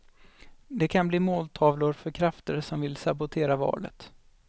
De kan bli måltavlor för krafter som vill sabotera valet.